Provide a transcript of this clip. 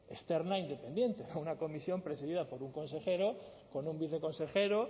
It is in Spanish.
externa independiente no una comisión presidida por un consejero con un viceconsejero